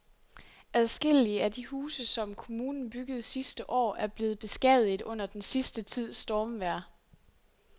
Adskillige af de huse, som kommunen byggede sidste år, er blevet beskadiget under den sidste tids stormvejr.